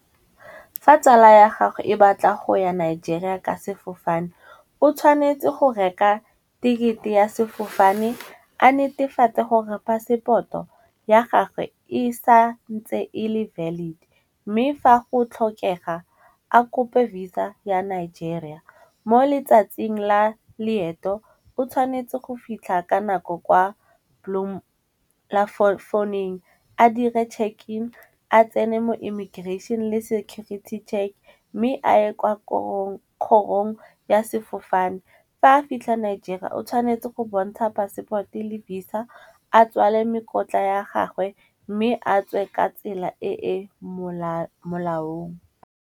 Fa tsala ya gago e batla go ya Nigeria ka sefofane, o tshwanetse go reka tekete ya sefofane a netefatse gore passport-o ya gage e sa ntse e le valid. Mme fa go tlhokega a kope Visa ya Nigeria, mo letsatsing la leeto o tshwanetse go fitlha ka nako kwa phone-ing, a dire check-in a tsene mo immigration le security check, mme a ye kwa gore kgorong ya sefofane. Fa a fitlhela Nigeria o tshwanetse go bontsha passport-e le Visa a tswale mekotla ya gagwe mme a tswe ka tsela e e molaong.